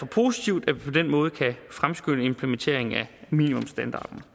positivt at vi på den måde kan fremskynde implementeringen af minimumsstandarderne